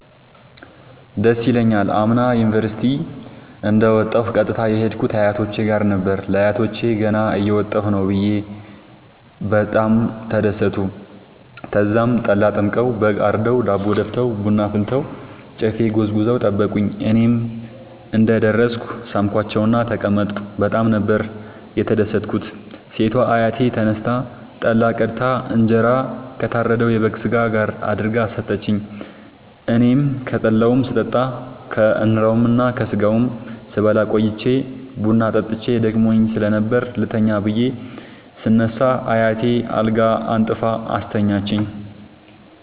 ደስ ይለኛል። አምና ዩኒቨርሢቲ እንደ ወጣሁ ቀጥታ የሄድኩት አያቶቼ ጋር ነበር። ለአያቶቸ ገና እየመጣሁ ነዉ ብየ በጣም ተደሠቱ። ተዛም ጠላ ጠምቀዉ በግ አርደዉ ዳቦ ደፍተዉ ቡና አፍልተዉ ጨፌ ጎዝጉዘዉ ጠበቁኝ። እኔም እንደ ደረስኩ ሣምኳቸዉእና ተቀመጥኩ በጣም ነበር የተደትኩት ሴቷ አያቴ ተነስታ ጠላ ቀድታ እንጀራ ከታረደዉ የበግ ስጋ ጋር አድርጋ ሠጠችኝ። አኔም ከጠላዉም ስጠጣ ከእንራዉና ከስጋዉም ስበላ ቆይቼ ቡና ጠጥቼ ደክሞኝ ስለነበር ልተኛ ብየ ስነሳ አያቴ አልጋ አንጥፋ አስተኛችኝ።